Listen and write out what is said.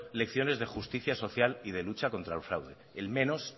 lecciones de lucha social y de lucha contra el fraude el menos